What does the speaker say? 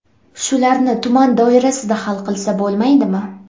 Shularni tuman doirasida hal qilsa bo‘lmaydimi?